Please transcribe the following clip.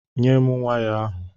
Nyé m waya ahụ!!